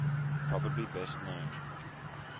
probably best known